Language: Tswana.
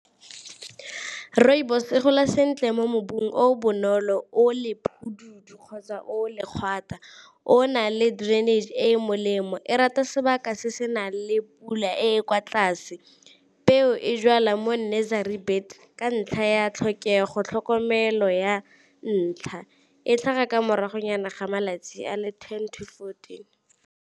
Rooibos e gola sentle mo mobu o bonolo o le kgotsa o , o na le drainage e e molemo, e rata sebaka se se nang le pula e e kwa tlase. Peo e jwala mo nursery bed ka ntlha ya tlhokego tlhokomelo ya ntlha, e tlhaga ka moragonyana ga malatsi a le ten to fourteen.